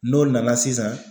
N'o nana sisan